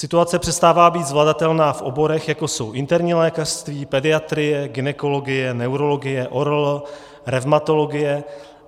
Situace přestává být zvladatelná v oborech, jako jsou interní lékařství, pediatrie, gynekologie, neurologie, ORL, revmatologie.